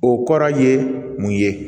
O kɔrɔ ye mun ye